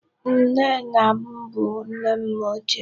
Nne nna m bụ nne m ochie.